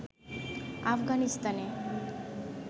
আফগানিস্তানে